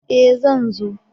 E! Zan zo.